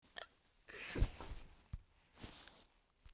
. þetta var mín ósk.